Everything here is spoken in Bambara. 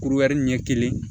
Kuruya ɲɛ kelen